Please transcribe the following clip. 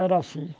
Era assim.